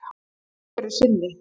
Einhverju sinni.